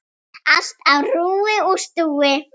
Allt á rúi og stúi.